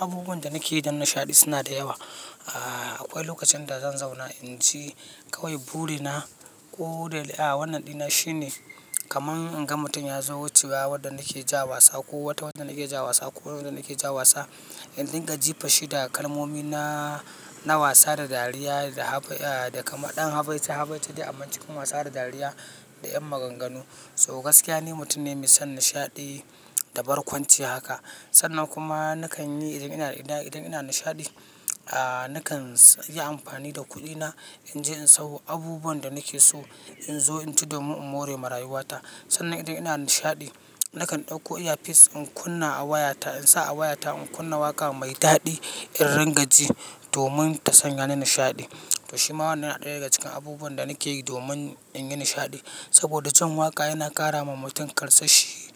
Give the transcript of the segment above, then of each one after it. Abubuwan da na ke yi dan nishaɗi suna sa yawa ahh, akwai lokacin da zan zauna in ji kawai burina ko da wannan ɗina shine kaman in ga mutum ya zo wucewa wanda na ke ja wasa ko wata wanda na ke ja wasa ko wani wanda na ke ja wasa, in dinga jifanshi da kalmomi na na wasa da dariya da kaman ɗan habaici habaici dai amma cikin wasa da dariya da 'yan maganganu. So gaskiya ni mutum ne mai son nishaɗi da barkwanci haka. Sannan kuma na kan yi idan ina nishaɗi, na kan yi amfani da kuɗina in je in sayo abubuwan da nake so in zo in ci domin in more ma raywata. Sannan idan ina nishaɗi na kan ɗauko earpiece in kunna a wayata in sa a wayata in kunna waƙa mai daɗi in rinƙa ji domin ta sanya ni nishaɗi. To shi ma wannan yana ɗaya daga cikin abubuwan da nake yi domin in yi nishaɗi. Saboda jin waƙa yana ƙara ma mutum karsashi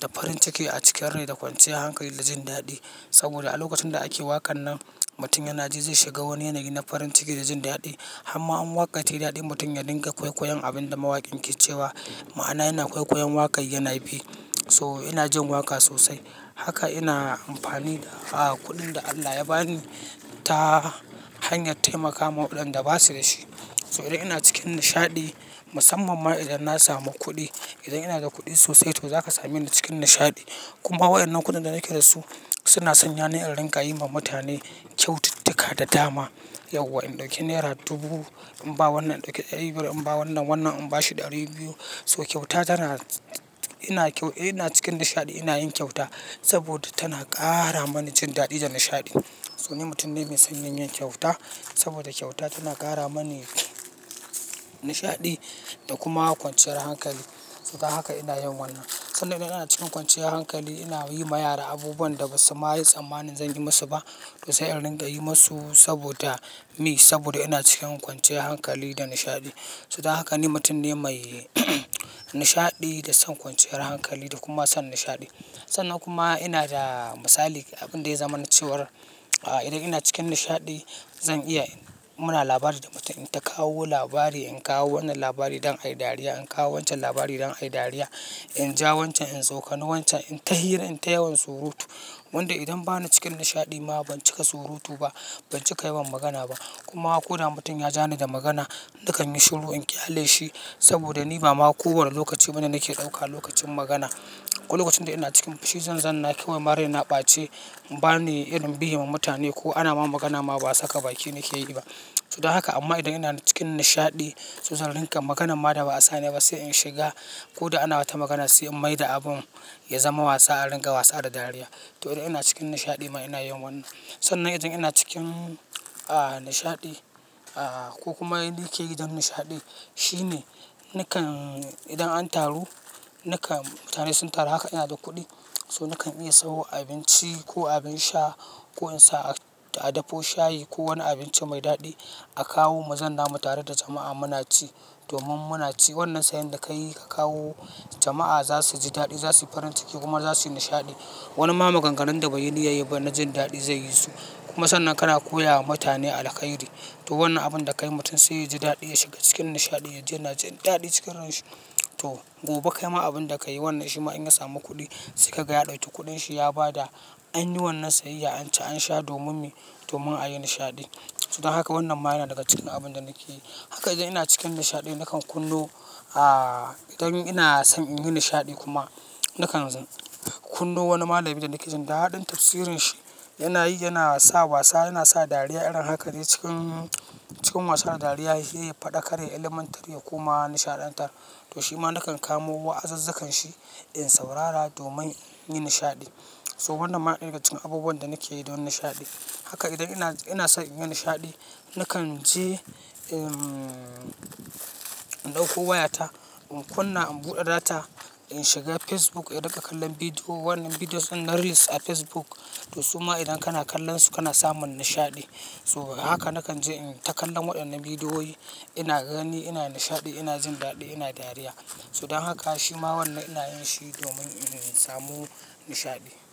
da farin ciki a cikin rai da kwanciyar hankali da jin daɗi. Saboda a lokacin da ake waƙan nan mutum yana ji zai shiga wani yanayi na farin ciki da jin daɗi. Har ma in waka ta yi daɗi mutum ya dinga kwaikwayon abin da mawaƙin ke cewa ma'ana yana kwaikwayon waƙar yana bi. So ina jin waƙa sosai haka ina amfani da kuɗin da Allah ya ba ni ta hanyar taimakawa waɗanda ba su da shi. So idan ina cikin nishaɗi musamman ma idan na samu kuɗi. Idan ina da kuɗi sosai to za ka same ni cikin nishaɗi. Kuma waɗannan kuɗin da nake da su suna sanya ni in rika yi ma mutane kyaututtuka da dama. Yauwa in ɗauke nera dubu in ba wannan, in ɗauki ɗari biyar in ba wannan, wannan in bashi ɗari biyu. So kyauta tana-- ina cikin nishaɗi ina yin kyauta saboda tana ƙara mani jin daɗi da nishaɗi. So ni mutum ne mai son yin kyauta saboda kyauta tana ƙara mani nishaɗi da kuma kwanciyar hankali. Dan haka ina yin wannan. Sannan idan ina cikin kwanciyar hankali ina yi ma yara abubuwan da basu ma yi tsammanin zan yi musu ba. To sai in rika yi musu saboda me? Saboda ina cikin kwanciyar hankali da nishaɗi. Suda haka ni mutum ne mai nishaɗi da son kwanciyar hankali da kuma son nishaɗi. Sannan kuma ina da misali abin da ya zama na cewar idan ina cikin nishaɗi zan iya in-- muna labari da mutum in ta kawo labari in kawo wannan labari don a yi dariya. In kawo wancan labari don a yi dariya. In ja wancan, in tsokane wancan, in ta hira, in ta yawan surutu. Wanda idan bani cikin nishaɗi ma ban cika surutu ba, ban cika yawan magana ba. Kuma ko da mutum ya ja ni da magana nakan yi shiru in ƙyale shi saboda ni ba ma ko wane lokaci bane nake ɗauka lokacin magana. Ko lokacin da ina cikin fushin zanna kaiwa ma raina ɓace, ba ni irin biye ma mutane ko ana ma magana ma ba saka baki nake yi ba. To dan haka amma idan ina cikin nishaɗi to zan rika maganan ma da ba'a sa ni ba sai in shiga ko da ana wata magana sai in maida abun ya zama wasa a riƙa wasa da dariya. To idan ina cikin nishaɗi ma ina yin wannan. Sannan idan ina cikin nishaɗi ko kuma ni ke yi dan nishaɗi shine na kan idan an taru nakan mutane sun taru haka ina da kuɗi so na kan iya sayo abinci ko abin sha ko in sa a dafo shayi ko wani abinci mai daɗi a kawo mu zanna mu tare da jama'a muna ci domin muna ci wannan sayan da ka yi ka kawo jama'a za su ji daɗi za su yi farin ciki kuma za su yi nishaɗi. Wani ma maganganun da bai yi niyyan yi ba na jin daɗi zai yi su. Kuma sannan kana koya wa mutane alƙhairi. To wannan abun da kayi mutum sai ya ji daɗi ya shiga cikin nishaɗi ya ji yana jin daɗi cikin ransa. To gobe kai ma abun da ka yi wannan shi ma in ya samu kuɗi sai ka ga ya ɗauki kuɗin shi ya ba da an yi wannan sayayya an ci an sha domin me? Domin a yi nishaɗi. Suda haka wannan ma yana daga cikin abubuwan da nake yi. Haka idan ina cikin nishaɗi na kan kunno ah idan ina son in yi nishaɗi kuma na kan kunno wani malami da nake jin daɗin tafsirin shi yana yi yana sa wasa yana sa dariya irin haka ne cikin cikin wasa da dariya shi ya faɗakar ya ilimantar ya kuma nishaɗanta. To shi ma na kan kamo wa'azazzukan shi in saurara domin in yi nishaɗi. So wannan ma ɗaya daga cikin abubuwan da nake yi don nishaɗi. Haka idan ina, ina son in yi nishaɗi na kan je in in ɗauko wayata in kunna in buɗe data in shiga Facebook in riƙa kallon bidiyo. Wannan videos din na reels din facebook to suma idan kana kallon su kana samun nishaɗi. So haka na kan je in ta kallon waɗannan bidiyoyi ina gani ina nishaɗi ina jin daɗi ina dariya. To dan haka shi ma wannan ina yin shi domin in samu nishaɗi.